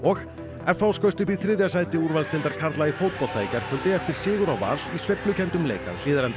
f h skaust upp í þriðja sæti úrvalsdeildar karla í fótbolta í gærkvöldi eftir sigur á Val í sveiflukenndum leik að Hlíðarenda